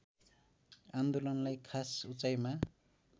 आन्दोलनलार्इ खास उचाइमा